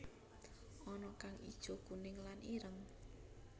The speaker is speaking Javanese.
Ana kang ijo kuning lan ireng